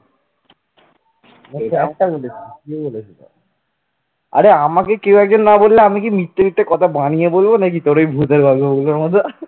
আরে আমাকে কেউ একজন না বললে আমি কি মিথ্যে মিথ্যে কথা বানিয়ে বলবো নাকি তোরওই ভূতের গল্পগুলোর মতন।